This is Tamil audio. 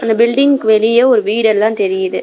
இந்த பில்டிங்க் வெளிய ஒரு வீடு எல்லா தெரியுது.